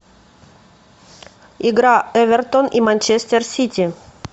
игра эвертон и манчестер сити